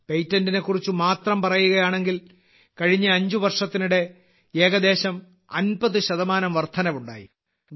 പേറ്റന്റിനെക്കുറിച്ച് മാത്രം പറയുകയാണെങ്കിൽ കഴിഞ്ഞ അഞ്ച് വർഷത്തിനിടെ ഏകദേശം 50 ശതമാനം വർധനവുണ്ടായി